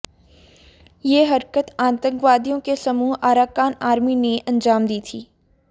यह हरकत अतिवादियों के समूह अराकान आर्मी ने अंजाम दी थी